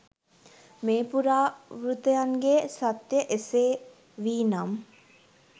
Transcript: මේ පුරා වෘත්තයන්ගේ සත්‍ය එසේ වී නම්